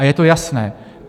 A je to jasné.